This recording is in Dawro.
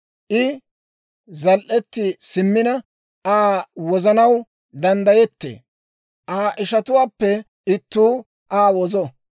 I zal"etti simmina Aa wozanaw danddayettee; Aa ishatuwaappe ittuu Aa wozo.